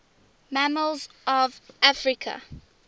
mammals of africa